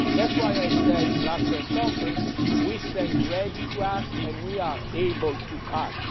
that is why I said in the last press conference that we stand ready to act and we are able to act.